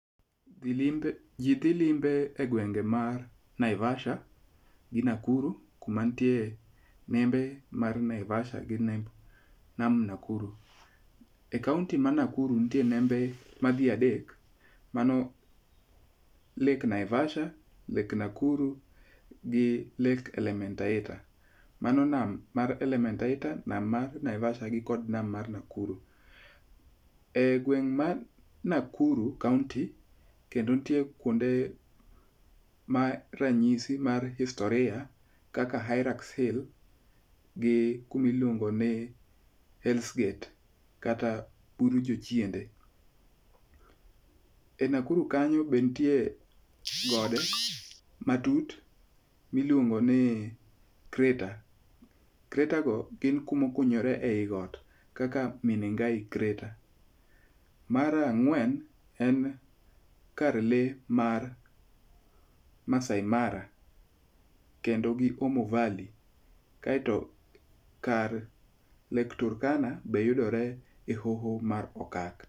Ji dhi limbe egwenge mar Naivasha gi Nakuru kuma nitie nembe mag Naivasha kod Nakuru. E kaonti ma Nakuru nitie nembe madhi adek, mano Lake Naivasha gi Lake Nakuru, Lake Elementaita. Mano nam mar Elementaita, nam mar Naivasha, gi kod nam mar Nakuru. E gweng' mar Nakuru Kaonti kendo nitie kuonde ma ranyisi mar historia kaka Hairaks Hill, gi kuma iluongo ni Hells Gate kata bur jochiende. E Nakuru kanyo be nitie gode matut miluongo ni Crater. Crater go gin kuma okunyore ewi got kaka Menengai Crater. Mar ang'wen, kar lee mar Maasai Mara kendo gi Omo Valley kaeto kar Lake Turkana be yudore e hoho mar okak.